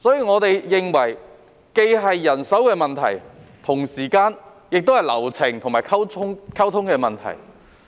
我們認為這既是人手的問題，同時亦是流程和溝通的問題。